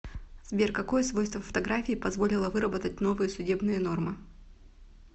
сбер какое свойство фотографии позволило выработать новые судебные нормы